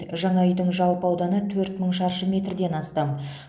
жаңа үйдің жалпы ауданы төрт мың шаршы метрден астам